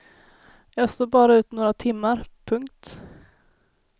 Jag stod bara ut några timmar. punkt